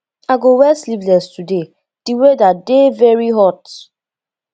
i go wear sleevless today di weather dey very hot